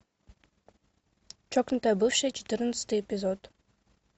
чокнутая бывшая четырнадцатый эпизод